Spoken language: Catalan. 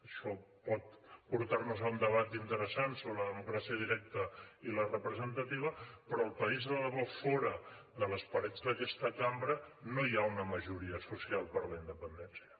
això pot portar nos a un debat interessant sobre la democràcia directa i la representativa però al país de debò fora de les parets d’aquesta cambra no hi ha una majoria social per la independència